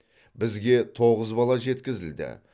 бізге тоғыз бала жеткізілді